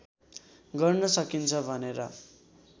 गर्न सकिन्छ भनेर